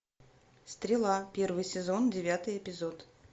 стрела первый сезон девятый эпизод